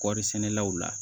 Kɔɔrisɛnɛlaw la